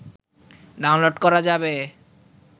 download করা যাবে